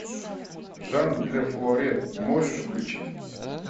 жан де флоретт можешь включить